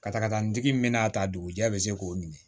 Ka taga ntigi min bɛna ta dugujɛ bɛ se k'o ɲini